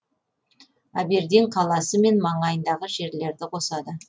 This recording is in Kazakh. абердин қаласы мен маңайындағы жерлерді қосады